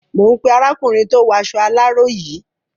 Mò ń pé arákùnrin tó waṣọ aláró yìí.